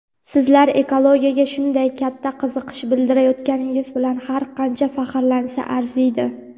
Sizlar ekologiyaga shunday katta qiziqish bildirayotganingiz bilan har qancha faxrlansa arziydi!.